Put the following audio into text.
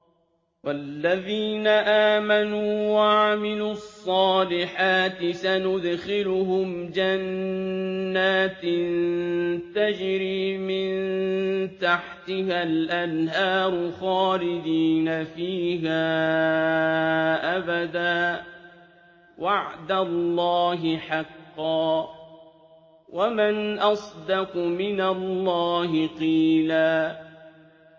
وَالَّذِينَ آمَنُوا وَعَمِلُوا الصَّالِحَاتِ سَنُدْخِلُهُمْ جَنَّاتٍ تَجْرِي مِن تَحْتِهَا الْأَنْهَارُ خَالِدِينَ فِيهَا أَبَدًا ۖ وَعْدَ اللَّهِ حَقًّا ۚ وَمَنْ أَصْدَقُ مِنَ اللَّهِ قِيلًا